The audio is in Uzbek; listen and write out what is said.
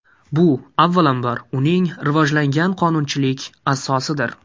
Bu, avvalambor, uning rivojlangan qonunchilik asosidir.